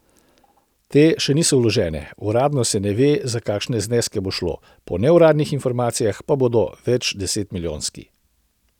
Te še niso vložene, uradno se ne ve, za kakšne zneske bo šlo, po neuradnih informacijah pa bodo večdesetmilijonski.